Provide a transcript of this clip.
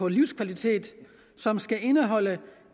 livskvalitet som skal indeholde